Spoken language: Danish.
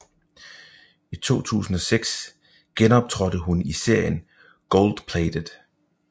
I 2006 gæsteoptrådte hun i serien Goldplated